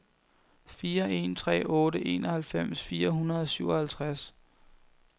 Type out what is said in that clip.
fire en tre otte enoghalvfems fire hundrede og syvoghalvtreds